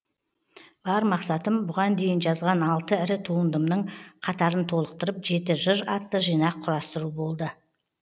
бар мақсатым бұған дейін жазған алты ірі туындымның қатарын толықтырып жеті жыр атты жинақ құрастыру болды